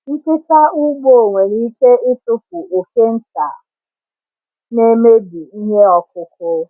Nkịta ugbo nwere ike ịtụpụ oke nta na-emebi ihe ọkụkụ.